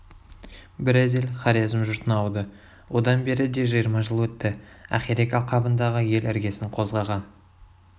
біраз ел хорезм жұртына ауды одан бері де жиырма жыл өтті ақирек алқабындағы ел іргесін қозғаған